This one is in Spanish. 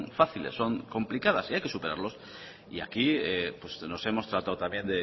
fáciles son complicadas y hay que superarlos y aquí nos hemos tratado también